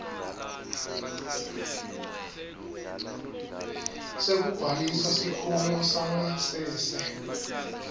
sekubhalisa sikhungo sangasese